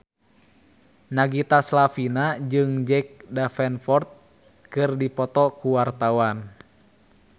Nagita Slavina jeung Jack Davenport keur dipoto ku wartawan